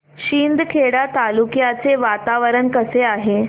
शिंदखेडा तालुक्याचे वातावरण कसे आहे